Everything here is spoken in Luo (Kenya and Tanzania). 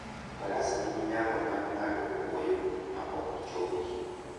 Faras nigi nyalo mar ng'ado kwoyo ma ok chogi.